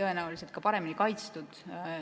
tõenäoliselt ka paremini kaitstud.